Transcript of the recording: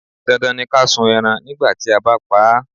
Dandan ni ká sun ẹran nígbà tí a bá pa á.